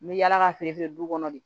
N bɛ yaala ka feere du kɔnɔ de